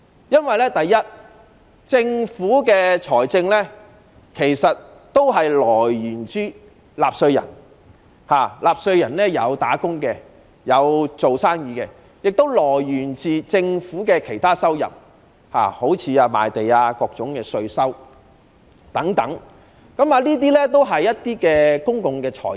因為首先，政府財政收入均源自於納稅人，例如"打工仔女"、生意人，亦源自政府的其他收入，例如賣地或各種稅收等，全都是公共財政。